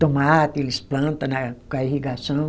Tomate, eles plantam né com a irrigação.